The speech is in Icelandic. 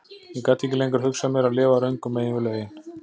Ég gat ekki lengur hugsað mér að lifa röngu megin við lögin.